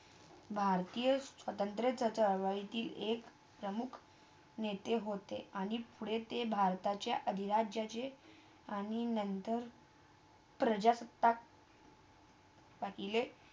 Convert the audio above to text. भारतीय स्वतंत्राच्या चळवळीतील प्रमुख व्यक्ती एक प्रमुख नेते होते आणि पुढे ते भारताच्या अधिराज्याचे आणि नंतर प्रजासत्ताकपहिलेच